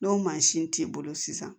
N'o mansin t'i bolo sisan